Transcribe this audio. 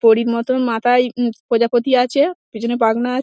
পরীর মতন মাথায় উম প্রজাপতি আছে পেছনে পাখনা--